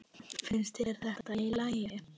Finnst þér þetta í lagi?